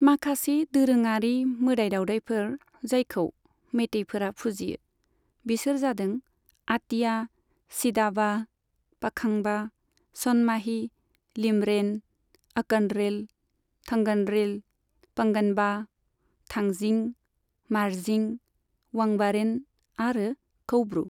माखासे दोरोङारि मोदाय दावदायफोर जायखौ मेइतेइफोरा फुजियो, बिसोर जादों आटिया सिदाबा, पाखांबा, सनमाही, लीमरेन, अकनरेल, थंगनरेल, पंगनबा, थांजिं, मार्जिं, वांबारेन आरो कौब्रु।